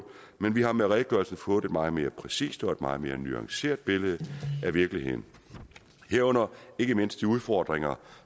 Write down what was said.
men vi har med redegørelsen fået et meget mere præcist og meget mere nuanceret billede af virkeligheden herunder ikke mindst udfordringer